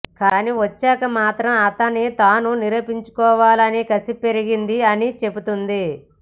కానీ వచ్చాక మాత్రం తనని తాను నిరూపించుకోవాలని కసి పెరిగింది అని చెబుతుంది